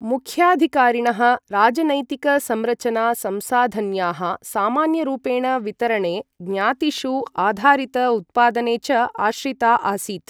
मुख्याधिकारिणः राजनैतिक संरचना संसाधन्याः सामान्यरूपेण वितरणे, ज्ञातिषु आधारित उत्पादने च आश्रिता आसीत्।